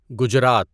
Gujarat